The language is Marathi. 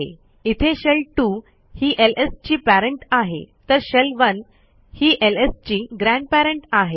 इथे शेल2 ही एलएस ची parentआहे तर शेल1 ही एलएस ची ग्रँडपेरंट आहे